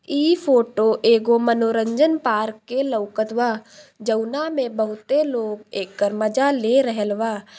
ई फोटो एगो मनोरंजन पार्क के लौकत बा जौना मे बहुते लोग एकर मजा ले रहैल बा।